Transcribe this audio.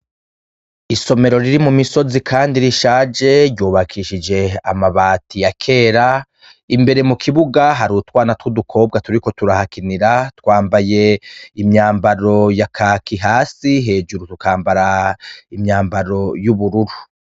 Isomero riri mu misozi, kandi rishaje ryubakishije amabati ya kera, imbere mu kibuga hari utwana tw'udukobwa turiko turahakinira twambaye imyambaro ya kaki hasi, hejuru tukambara imyambaro y'ubururu.